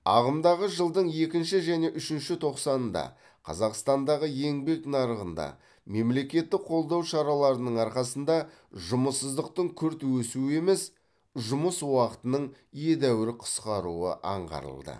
ағымдағы жылдың екінші және үшінші тоқсанында қазақстандағы еңбек нарығында мемлекеттік қолдау шараларының арқасында жұмыссыздықтың күрт өсуі емес жұмыс уақытының едәуір қысқаруы аңғарылды